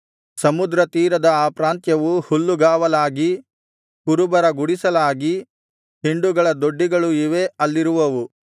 ಸಮುದ್ರ ತೀರದ ಆ ಪ್ರಾಂತ್ಯವು ಹುಲ್ಲುಗಾವಲಾಗಿ ಕುರುಬರ ಗುಡಿಸಲಾಗಿ ಹಿಂಡುಗಳ ದೊಡ್ಡಿಗಳು ಇವೇ ಅಲ್ಲಿರುವವು